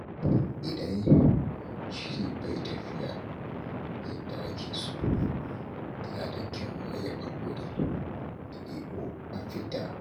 Idan shiri bai tafiya yadda ake so, yana da kyau a yi haƙuri a nemo mafita.